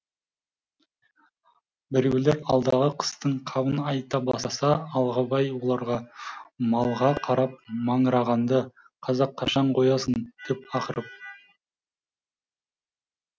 біреулер алдағы қыстың қамын айта бастаса алғабай оларға малға қарап маңырағанды қазақ қашан қоясың деп ақырып